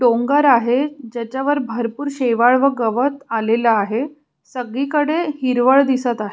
डोंगर आहे ज्याच्यावर भरपुर शेवाळ व गवत आलेल आहे सगळीकडे हिरवळ दिसत आहे.